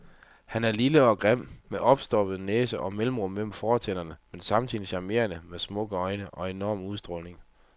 Han er lille og grim, med opstoppernæse og mellemrum mellem fortænderne, men samtidig charmerende, med smukke øjne og en enorm udstråling.